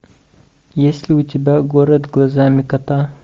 есть ли у тебя город глазами кота